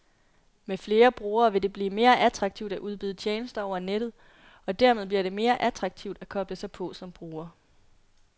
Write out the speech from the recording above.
Med flere brugere vil det blive mere attraktivt at udbyde tjenester over nettet, og dermed bliver det mere attraktivt at koble sig på som bruger.